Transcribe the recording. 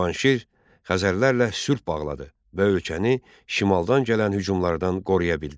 Cavanşir Xəzərlərlə sülh bağladı və ölkəni şimaldan gələn hücumlardan qoruya bildi.